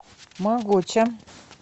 могоча